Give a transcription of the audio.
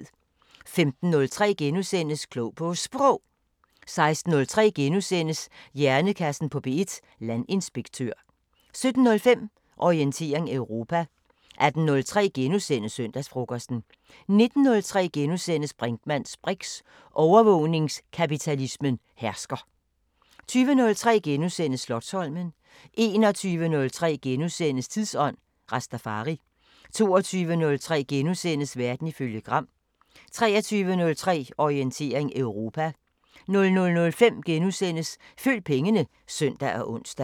15:03: Klog på Sprog * 16:03: Hjernekassen på P1: Landinspektør * 17:05: Orientering Europa 18:03: Søndagsfrokosten * 19:03: Brinkmanns briks: Overvågningskapitalismen hersker * 20:03: Slotsholmen * 21:03: Tidsånd: Rastafari * 22:03: Verden ifølge Gram * 23:03: Orientering Europa 00:05: Følg pengene *(søn og ons)